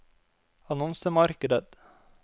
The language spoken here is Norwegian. annonsemarkedet